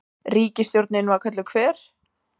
Ríkisstjórnin var kölluð Hver?